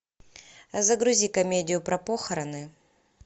загрузи комедию про похороны